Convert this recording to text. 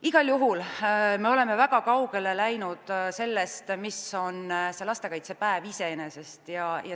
Igal juhul oleme väga kaugele läinud sellest, mis lastekaitsepäev iseenesest on.